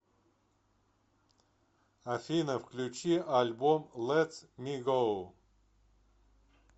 афина включи альбом лэт ми гоу